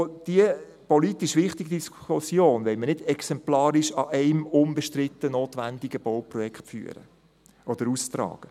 Die politisch wichtige Diskussion wollen wir nicht exemplarisch anhand eines unbestritten notwendigen Bauprojekts führen oder austragen.